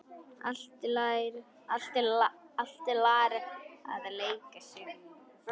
Ætlar að leigja sér íbúð.